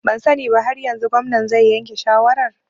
Ban sani ba har yanzu, gwamnan zai yanke shawarar